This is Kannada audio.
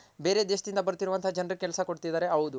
ಬೇರೆ ದೇಶದಿಂದ ಬರ್ತಿರೋವಂತ ಜನರ್ಗ್ ಕೆಲ್ಸ ಕೊಡ್ತಿದಾರೆ ಹೌದು